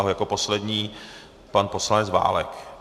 A jako poslední pan poslanec Válek.